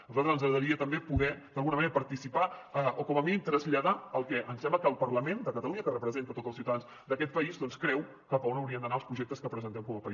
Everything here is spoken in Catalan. a nosaltres ens agradaria també poder d’alguna manera participar hi o com a mínim traslladar el que ens sembla que el parlament de catalunya que representa a tots els ciutadans d’aquest país creu cap a on haurien d’anar els projectes que presentem com a país